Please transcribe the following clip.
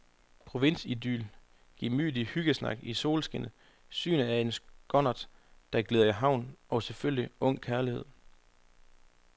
Provinsidyl, gemytlig hyggesnak i solskinnet, synet af en skonnert, der glider i havn, og selvfølgelig ung kærlighed.